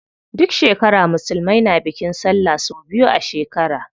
Duk shekara musulmai na bikin sallah sau biyu a shekara.